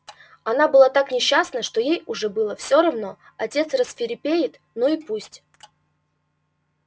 она была так несчастна что ей уже было все равно отец рассвирепеет ну и пусть